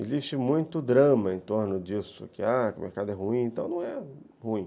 Existe muito drama em torno disso, que ãh, o mercado é ruim, então não é ruim.